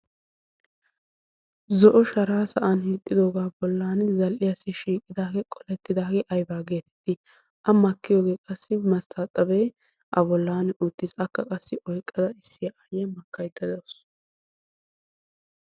zo'o sharaa sa'an hiixxidoogaa bollan zal'iyaassi shiiqidaagee qolettidaagee aybaa geetetti a makkiyoogee qassi masttaaxabee a bollaan oottiis akka qassi oyqqada issiy a aayye makkaydda doos.